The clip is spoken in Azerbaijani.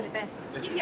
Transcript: Bəli, bəli.